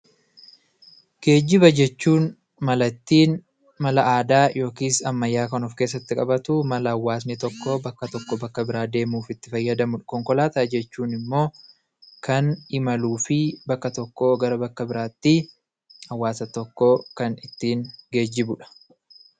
Geejjiba jechuun mala ittiin mala aadaa yookiis ammayyaa kan of keessatti qabatu, mala hawaasni tokko bakka tokkoo bakka biraa deemuuf itti fayyadamudha. Konkolaataan jechuun immoo kan imaluu fi bakka tokkoo gara bakka biraatti hawaasa tokko kan ittiin geejjibudha.